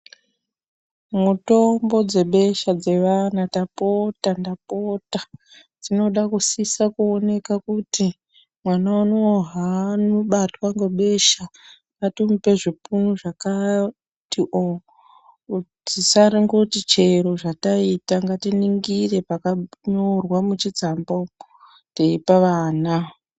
Mitombo dzebesha dzevana, ndapota ndapota dzinoda kusisa kuoneka kuti mwana unowu zvaabatwa ngebesha ngatimupe zvipunu zvakati o-o tisangoti chero zvataita. Ngatiningire pakanyorwa muchitsamba umo, teipe vana.